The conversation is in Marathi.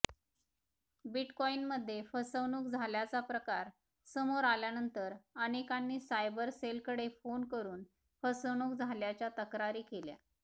बिटकॉइनमध्ये फसवणूक झाल्याचा प्रकार समोर आल्यानंतर अनेकांनी सायबर सेलकडे फोन करून फसवणूक झाल्याच्या तक्रारी केल्या